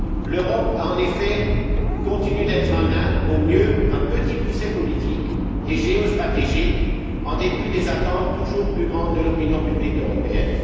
L'Europe a, en effet, continué d'être un nain, au mieux un Petit Poucet politique et géostratégique, en dépit des attentes toujours plus grandes de l'opinion publique européenne.